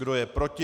Kdo je proti?